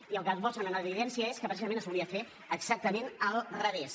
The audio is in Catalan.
i el que posen en evidència és que precisament es volia fer exactament al revés